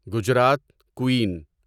Gujarat قُین